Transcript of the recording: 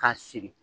K'a sigi